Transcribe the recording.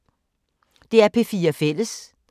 DR P4 Fælles